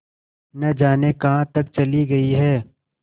न जाने कहाँ तक चली गई हैं